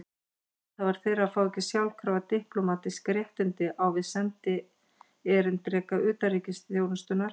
Handhafar þeirra fá ekki sjálfkrafa diplómatísk réttindi á við sendierindreka utanríkisþjónustunnar.